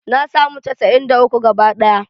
Na samu casa'in da uku gabaɗaya